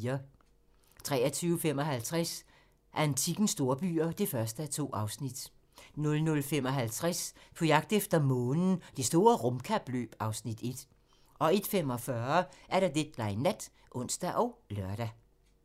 23:55: Antikkens storbyer (1:2) 00:55: På jagt efter månen – Det store rumkapløb (Afs. 1) 01:45: Deadline Nat (ons og lør)